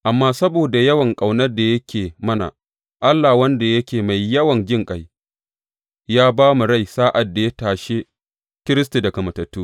Amma saboda yawan ƙaunar da yake mana, Allah, wanda yake mai yawan jinƙai, ya ba mu rai sa’ad da ya tashe Kiristi daga matattu.